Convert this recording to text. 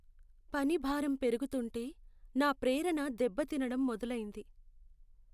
పనిభారం పెరుగుతుంటే నా ప్రేరణ దెబ్బతినడం మొదలైంది.